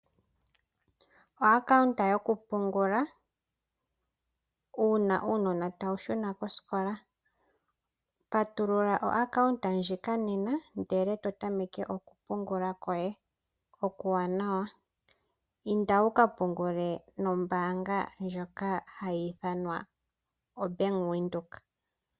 Oakawunta yokupungula uuna uunona tawu shuna kosikola. Patulula oakawunta ndjika nena ndele to tameke oku pungula kwoye okuwanawa. Inda woka pungule nombaanga ndjika hayi ithanwa Bank Windhoek.